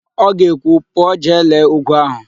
Ọ ga-ekwu, "pụọ jee lelee úgwú ahụ"!